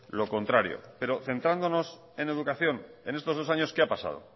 lo contrario pero centrándonos en educación en estos dos años qué ha pasado